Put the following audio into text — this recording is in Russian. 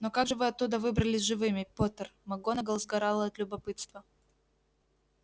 но как же вы оттуда выбрались живыми поттер макгонагалл сгорала от любопытства